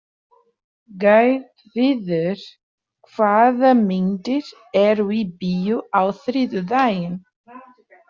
Gautviður, hvaða myndir eru í bíó á þriðjudaginn?